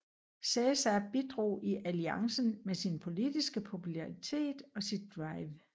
Cæsar bidrog i alliancen med sin politiske popularitet og sit drive